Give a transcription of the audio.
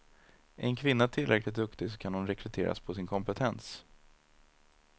Är en kvinna tillräckligt duktig så kan hon rekryteras på sin kompetens.